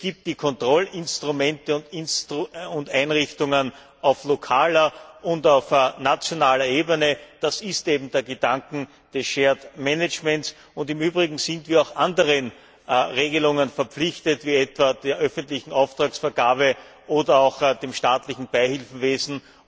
Es gibt ja die Kontrollinstrumente und einrichtungen auf lokaler und auf nationaler Ebene. Das ist eben der Gedanke des shared management Im Übrigen sind wir auch anderen Regelungen verpflichtet, etwa bei der öffentlichen Auftragsvergabe oder auch beim staatlichen Beihilfewesen.